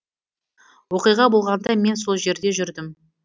оқиға болғанда мен сол жерде жүрдім